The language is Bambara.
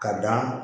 Ka dan